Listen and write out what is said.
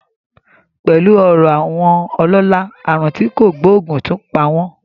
Pẹ̀lú ọrọ̀ àwọn ọlọ́lá, àrùn tí kò gbóògùn tún pa wọ́n